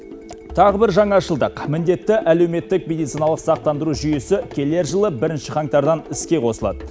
тағы бір жаңашылдық міндетті әлеуметтік медициналық сақтандыру жүйесі келер жылы бірінші қаңтардан іске қосылады